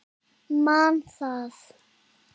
Man það.